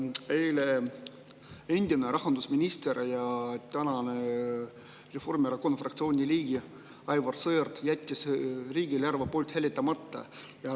Eile endine rahandusminister ja praegune Reformierakonna fraktsiooni liige Aivar Sõerd jättis riigieelarve poolt hääletamata.